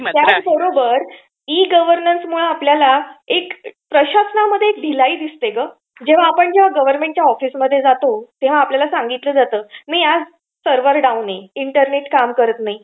त्याचबरोबर आपल्याला ई गव्हर्नन्समध्ये एक प्रशासनामध्ये एक ढिलाई दिसते ग. जेव्हा आपण गव्हर्नमेंटच्या ऑफिसमध्ये जातो तेव्हा आपल्याला सांगितलं जातं, सर्व्हर डाउन आहे, इंटरनेट काम करत नाही.